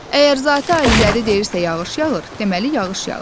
Əgər Zati Aliləri deyirsə yağış yağır, deməli yağış yağır.